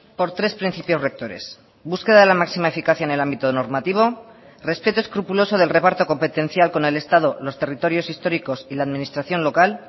por tres principios rectores búsqueda de la máxima eficacia en el ámbito normativo respeto escrupuloso del reparto competencial con el estado los territorios históricos y la administración local